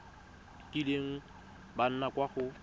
kileng ba nna kwa go